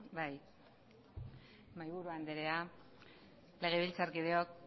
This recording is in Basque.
bai mahaiburu andrea legebiltzarkideok